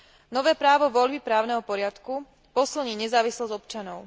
Nové právo voľby právneho poriadku posilní nezávislosť občanov.